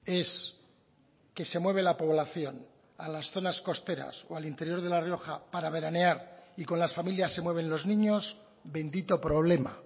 es que se mueve la población a las zonas costeras o al interior de la rioja para veranear y con las familias se mueven los niños bendito problema